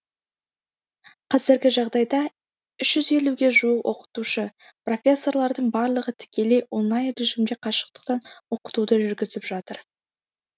қазіргі жағдайда үш жүз елуге жуық оқытушы профессорлардың барлығы тікелей онлайн режимде қашықтықтан оқытуды жүргізіп жатыр